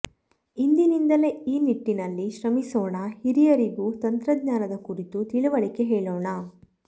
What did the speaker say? ಇಂದಿನಿಂದಲೇ ಈ ನಿಟ್ಟಿನಲ್ಲಿ ಶ್ರಮಿಸೋಣ ಹಿರಿಯರಿಗೂ ತಂತ್ರಜ್ಞಾನದ ಕುರಿತು ತಿಳಿವಳಿಕೆ ಹೇಳೋಣ